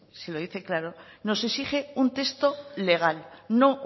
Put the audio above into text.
si lo dice claro nos exige un texto legal no